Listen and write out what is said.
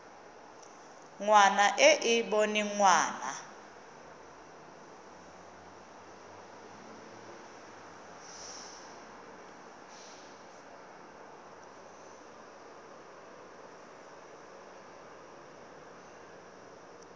ngwana e e boneng ngwana